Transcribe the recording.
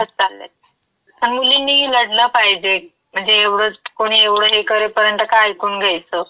घडत चाल्यात. पण मुलींनी लढलं पाहिजे म्हणजे एवढचं, कुणी एवढं हे करे पर्यंत का ऐकून घ्यायचं?